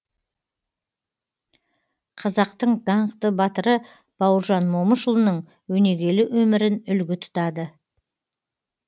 қазақтың даңқты батыры бауыржан момышұлының өнегелі өмірін үлгі тұтады